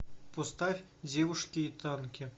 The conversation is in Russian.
поставь девушки и танки